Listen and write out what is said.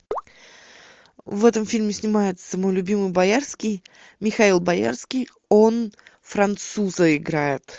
в этом фильме снимается мой любимый боярский михаил боярский он француза играет